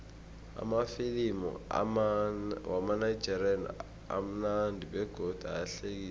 amafilimu wamanigerian amunandi begodu ayahlekisa